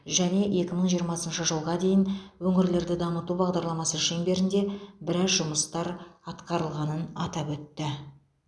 және екі мың жиырмасыншы жылға дейін өңірлерді дамыту бағдарламасы шеңберінде біраз жұмыстар атқарылғанын атап өтті